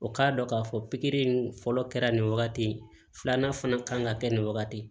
O k'a dɔn k'a fɔ pikiri in fɔlɔ kɛra nin wagati ye filanan fana kan ka kɛ nin wagati ye